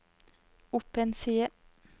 opp en side